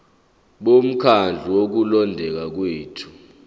bomkhandlu wokulondeka kwethu